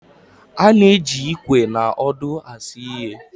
A na-eji Ikwe na ọdụ asụ ihe